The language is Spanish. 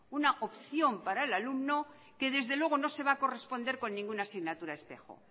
una opción para el alumno que desde luego no se va a corresponder con ninguna asignatura espejo